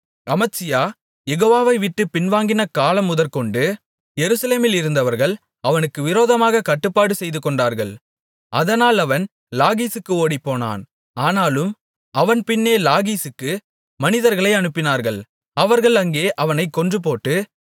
அமத்சியா யெகோவாவைவிட்டுப் பின்வாங்கின காலமுதற்கொண்டு எருசலேமிலிருந்தவர்கள் அவனுக்கு விரோதமாகக் கட்டுப்பாடு செய்துகொண்டார்கள் அதனால் அவன் லாகீசுக்கு ஓடிப்போனான் ஆனாலும் அவன் பின்னே லாகீசுக்கு மனிதர்களை அனுப்பினார்கள் அவர்கள் அங்கே அவனைக் கொன்றுபோட்டு